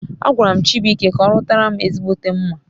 Agwaram Chibuike ka orutaram ezigbote mma